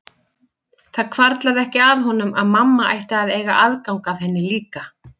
Það hvarflaði ekki að honum að mamma ætti að eiga aðgang að henni líka.